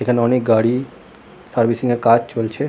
এখানে অনেক গাড়ি সার্ভিসিং এর কাজ চলছে।